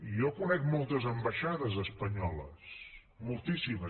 i jo conec moltes ambaixades espanyoles moltíssimes